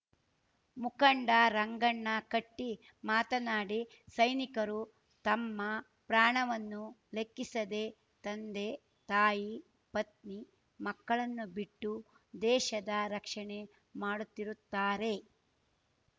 ಮುಖಂಡ ರಂಗಣ್ಣ ಕಟ್ಟಿಮಾತನಾಡಿ ಸೈನಿಕರು ತಮ್ಮ ಪ್ರಾಣವನ್ನೂ ಲೆಕ್ಕಿಸದೇ ತಂದೆ ತಾಯಿ ಪತ್ನಿ ಮಕ್ಕಳನ್ನು ಬಿಟ್ಟು ದೇಶದ ರಕ್ಷಣೆ ಮಾಡುತ್ತಿರುತ್ತಾರೆ